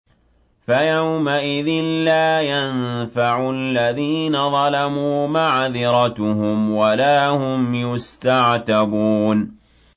فَيَوْمَئِذٍ لَّا يَنفَعُ الَّذِينَ ظَلَمُوا مَعْذِرَتُهُمْ وَلَا هُمْ يُسْتَعْتَبُونَ